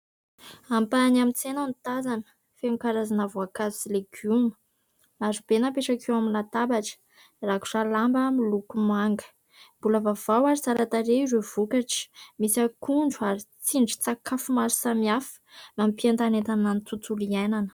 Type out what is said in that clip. Ampahany amin'ny tsena no tazana. Feno karazana voankazo sy legioma marobe napetraka eo amin'ny latabatra rakotra lamba miloko manga mbola vaovao ary tsara tarehy ireo vokatra misy akondro ary tsindrin- tsakafo maro samihafa mampientanentana ny tontolo iaianana.